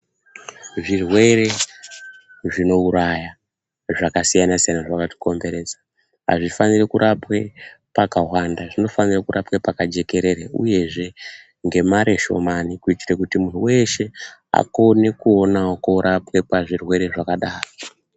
Zvirwere zvinouraya zvakasiyana siyana zvakatikomberedza, hazvifaniri kurapwe pakahwanda. Zvinofanire kurapwe pakajekerere uyezve ngemari shomani kuitire kuti muntu weshe akone kuonawo korapwe pazvirwere zvakadaro.